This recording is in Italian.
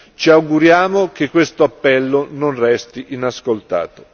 Ci auguriamo che questo appello non resti inascoltato.